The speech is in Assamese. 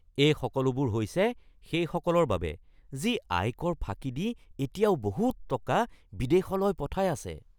এই সকলোবোৰ হৈছে সেইসকলৰ বাবে যি আয়কৰ ফাঁকি দি এতিয়াও বহুত টকা বিদেশলৈ পঠাই আছে